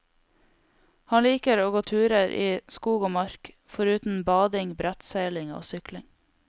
Han liker å gå turer i skog og mark, foruten bading, brettseiling og sykling.